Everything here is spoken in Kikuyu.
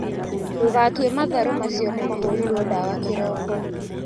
Ndũgatue matharũ macio nĩmahuhĩirwo ndawa kĩroko.